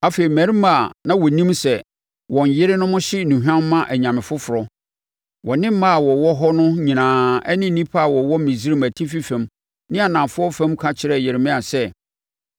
Afei, mmarima a na wɔnim sɛ wɔn yerenom hye nnuhwam ma anyame foforɔ, wɔne mmaa a wɔwɔ hɔ no nyinaa ne nnipa a wɔwɔ Misraim Atifi fam ne Anafoɔ fam ka kyerɛɛ Yeremia sɛ,